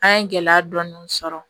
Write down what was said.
An ye gɛlɛya dɔɔni sɔrɔ